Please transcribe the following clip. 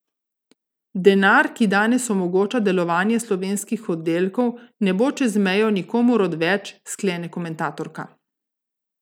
Denar, ki danes omogoča delovanje slovenskih oddelkov, ne bo čez mejo nikomur odveč, sklene komentatorka.